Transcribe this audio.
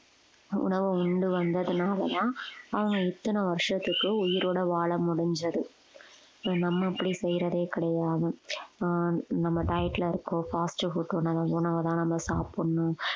உணவு உண்டு வந்ததுனாலதான் அவங்க இத்தனை வருஷத்துக்கு உயிரோட வாழ முடிஞ்சது இப்ப நம்ம அப்படி செய்யறதே கிடையாது ஆஹ் நம்ம diet ல இருக்கோம் fast food உணவு உணவைதான் நம்ம சாப்பிடணும்